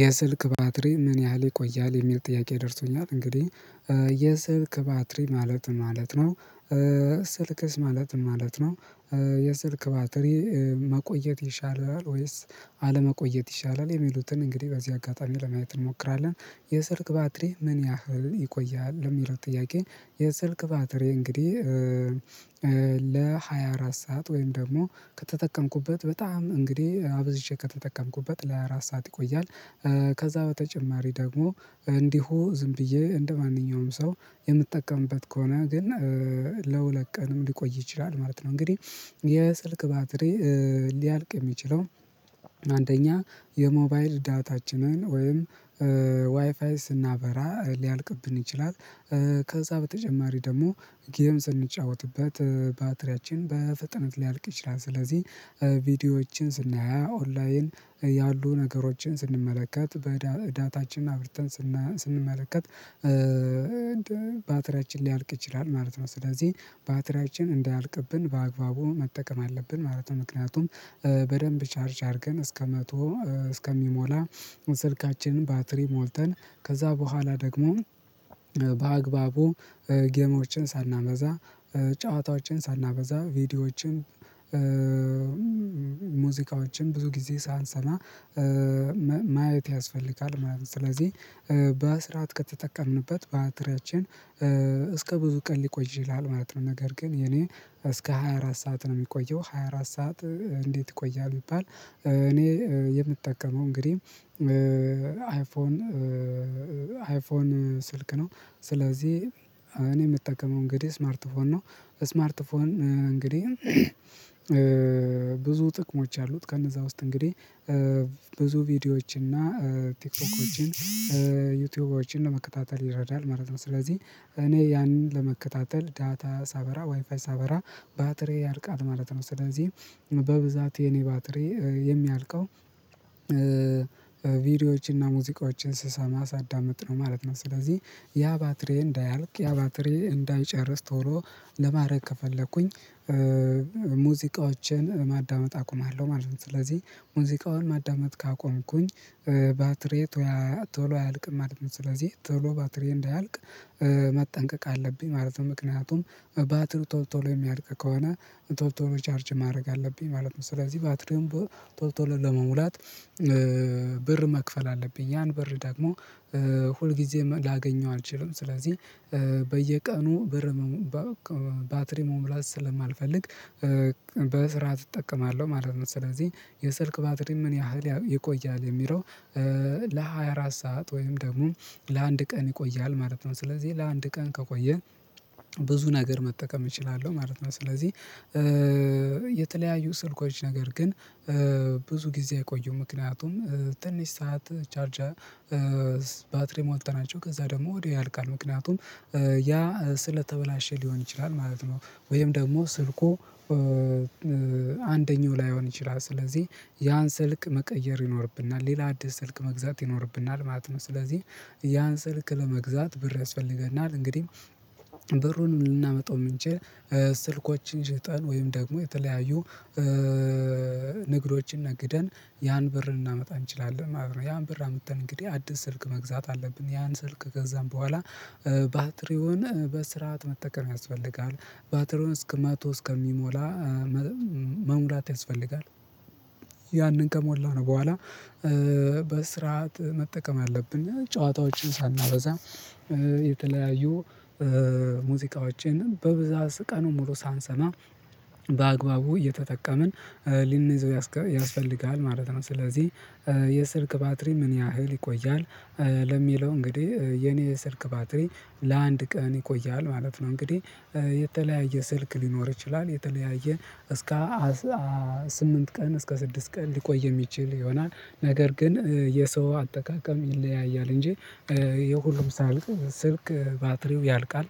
የስልክ ባትሪ ምን ያህል ይቆያል? የሚል ጥያቄ ደርሶኛል እንግዲህ የስልክ ባትሪ ማለት ማለት ነው ስልክስ ማለት ማለት ነው። የስልክ ባትሪ መቆየት ይሻላል ወይስ አለመቆየት ይሻላል የሚሉትን እንግዲህ በዚህ አጋጣሚ ለማየት እንሞክራለን። የስልክ ባትሪ ምን ያህል ይቆያል ለሚለው ጥያቄ የስልክ ባትሪ እንግዲህ ለሃያ አራት ሰዓት ወይም ደግሞ ከተጠቀምኩበት በጣም እንግዲህ አብዝቼ ከተጠቀምኩበት ለሃያ አራት ሰዓት ይቆያል። ከዛ በተጨማሪ ደግሞ እንዲሁ ዝም ብዬ እንደማንኛውም ሰው የምጠቀምበት ከሆነ ግን ለሁለት ቀንም ሊቆይ ይችላል ማለት ነው። እንግዲህ የስልክ ባትሪ ሊያልቅ የሚችለው አንደኛ የሞባይል ዳታችንን ወይም ዋይፋይ ስናበራ ሊያልቅብን ይችላል። ከዛ በተጨማሪ ደግሞ ጌም ስንጫወትበት ባትሪያችን በፍጥነት ሊያልቅ ይችላል። ስለዚህ ቪዲዮዎችን ስናይ ኦንላይን ያሉ ነገሮችን ስንመለከት በዳታችን አብርተን ስንመለከት ባትሪያችን ሊያልቅ ይችላል ማለት ነው። ስለዚህ ባትሪያችን እንዳያልቅብን በአግባቡ መጠቀም አለብን ማለት ነው። ምክንያቱም በደንብ ቻርጅ አድርገን እስከ መቶ እስከሚሞላ ስልካችንን ባትሪ ሞልተን ከዛ በኋላ ደግሞ በአግባቡ ጌሞችን ሳናበዛ ጨዋታዎችን ሳናበዛ ቪዲዮዎችን ሙዚቃዎችን ብዙ ጊዜ ሳንሰማ ማየት ያስፈልጋል ማለት ነው። ስለዚህ በስራት ከተጠቀምንበት ባትሪያችን እስከ ብዙ ቀን ሊቆይ ይላል ማለት ነው። ነገር ግን የኔ እስከ ሃያ አራት ሰዓት ነው የሚቆየው ሃያ አራት ሰዓት እንዴት ይቆያል? ቢባል እኔ የምጠቀመው እንግዲህ አይፎን አይፎን ስልክ ነው። ስለዚህ እኔ የምጠቀመው እንግዲህ ስማርት ፎን ነው። ስማርት ፎን እንግዲህ ብዙ ጥቅሞች አሉት ከነዛ ውስጥ እንግዲህ ብዙ ቪዲዮዎችን እና ቲክቶኮችን ዩቲዩበሮችን ለመከታተል ይረዳል ማለት ነው። ስለዚህ እኔ ያንን ለመከታተል ዳታ ሳበራ ዋይፋይ ሳበራ ባትሬ ያርቃል ማለት ነው። ስለዚህ በብዛት የኔ ባትሪ የሚያልቀው ቪዲዮዎችን እና ሙዚቃዎችን ስሰማ ሳዳምጥ ነው ማለት ነው። ስለዚህ ያ ባትሪዬ እንዳያልቅ ያ ባትሪዬ እንዳይጨርስ ቶሎ ለማድረግ ከፈለኩኝ ሙዚቃዎችን ማዳመጥ አቁማለሁ ማለት ነው። ስለዚህ ሙዚቃውን ማዳመጥ ካቆምኩኝ ባትሪዬ ቶሎ አያልቅም ማለት ነው። ስለዚህ ቶሎ ባትሪ እንዳያልቅ መጠንቀቅ አለብኝ ማለት ነው። ምክንያቱም ባትሪው ቶል ቶሎ የሚያልቅ ከሆነ ቶል ቶሎ ቻርጅ ማድረግ አለብኝ ማለት ነው። ስለዚህ ባትርም ቶል ቶሎ ለመሙላት ብር መክፈል አለብኝ ያን ብር ደግሞ ሁል ጊዜ ላገኘው አልችልም። ስለዚህ በየቀኑ ብር ባትሪ መሙላት ስለማልፈልግ በስራት እጠቀማለሁ ማለት ነው። ስለዚህ የስልክ ባትሪ ምን ያህል ይቆያል የሚለው ለሃያ አራት ሰዓት ወይም ደግሞ ለአንድ ቀን ይቆያል ማለት ነው። ስለዚህ ለአንድ ቀን ከቆየ ብዙ ነገር መጠቀም እችላለሁ ማለት ነው። ስለዚህ የተለያዩ ስልኮች ነገር ግን ብዙ ጊዜ አይቆዩም ምክንያቱም ትንሽ ሰዓት ቻርጃ ባትሪ ሞልተናቸው ከዛ ደግሞ ወዲያው ያልቃል ምክንያቱም ያ ስለተበላሸ ሊሆን ይችላል። ማለት ነው ወይም ደግሞ ስልኩ አንደኛው ላይሆን ይችላል ስለዚህ ያን ስልክ መቀየር ይኖርብናል ሌላ አዲስ ስልክ መግዛት ይኖርብናል ማለት ነው። ስለዚህ ያን ስልክ ለመግዛት ብር ያስፈልገናል እንግዲህ ብሩን ልናመጣው የምንችል ስልኮችን ሽጠን ወይም ደግሞ የተለያዩ ንግዶችን ነግደን ያን ብር እናመጣ እንችላለን ማለት ነው። ያን ብር አምጥተን እንግዲህ አዲስ ስልክ መግዛት አለብን ያን ስልክ ገዛን በኋላ ባትሪውን በስርዓት መጠቀም ያስፈልጋል። ባትሪውን እስከ መቶ እስከሚሞላ መሙላት ያስፈልጋል። ያንን ከሞላ ነው በኋላ በስርዓት መጠቀም አለብን ጨዋታዎችን ሳናበዛ የተለያዩ ሙዚቃዎችን በብዛት ቀኑን ሙሉ ሳንሰማ በአግባቡ እየተጠቀምን ሊንይዘው ያስፈልጋል ማለት ነው። ስለዚህ የስልክ ባትሪ ምን ያህል ይቆያል? ለሚለው እንግዲህ የኔ ስልክ ባትሪ ለአንድ ቀን ይቆያል ማለት ነው። እንግዲህ የተለያየ ስልክ ሊኖር ይችላል የተለያየ እስከ ስምንት ቀን እስከ ስድስት ቀን ሊቆይ የሚችል ይሆናል። ነገር ግን የሰው አጠቃቀም ይለያያል እንጂ የሁሉም ሳያልቅ ስልክ ባትሪው ያልቃል